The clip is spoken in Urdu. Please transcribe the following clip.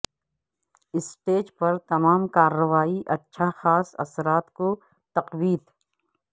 اسٹیج پر تمام کارروائی اچھا خاص اثرات کو تقویت